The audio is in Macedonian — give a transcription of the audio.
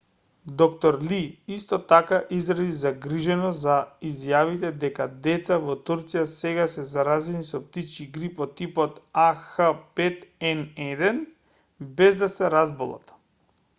д-р ли исто така изрази загриженост за изјавите дека деца во турција сега се заразени со птичји грип од типот ah5n1 без да се разболат